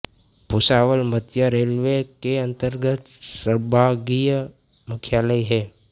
भुसावल मध्य रेलवे के अंतर्गत संभागीय मुख्यालय है